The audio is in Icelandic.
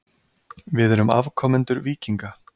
Við erum afkomendur víkinga.